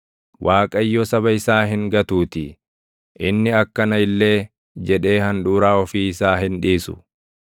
Waaqayyo saba isaa hin gatuutii; inni akkana illee jedhee handhuuraa ofii isaa hin dhiisu.